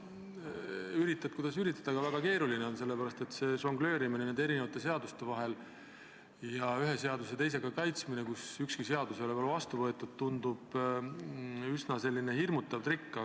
Üritad, kuidas üritad, aga väga keeruline on, sellepärast et nende erinevate seadustega žongleerimine ja ühe seaduse teisega kaitsmine, kui ükski seadus ei ole veel vastu võetud, tundub selline üsna hirmutav trikk.